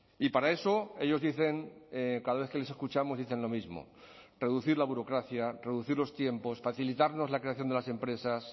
y para eso ellos dicen cada vez que les escuchamos dicen lo mismo reducir la burocracia reducir los tiempos facilitarnos la creación de las empresas